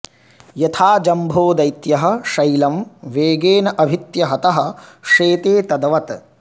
यथा जम्भो दैत्यः शैलं वेगेन अभिहत्य हतः शेते तद्वत्